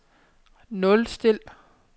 nulstil